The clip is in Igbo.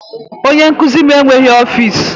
Onye nkuzi m enweghị ọfịs